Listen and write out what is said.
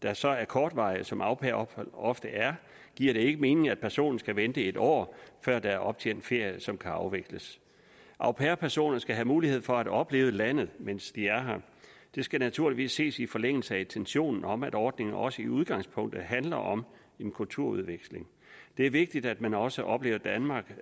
er så kortvarige som au pair ophold ofte er giver det ikke mening at personen skal vente et år før der er optjent ferie som kan afvikles au pair personer skal have mulighed for at opleve landet mens de er her det skal naturligvis ses i forlængelse af intentionen om at ordningen også i udgangspunktet handler om en kulturudveksling det er vigtigt at man også oplever danmark